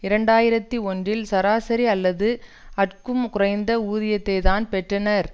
இரண்டு ஆயிரத்தி ஒன்றில் சராசரி அல்லது அற்கும் குறைந்த ஊதியத்தைத்தான் பெற்றனர்